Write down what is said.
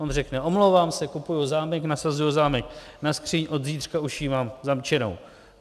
On řekne: Omlouvám se, kupuju zámek, nasazuju zámek na skříň, od zítřka už ji mám zamčenou.